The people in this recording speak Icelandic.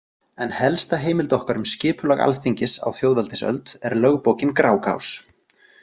En helsta heimild okkar um skipulag Alþingis á þjóðveldisöld er lögbókin Grágás.